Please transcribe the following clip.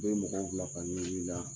U bɛ mɔgɔw bila ka ɲugu i a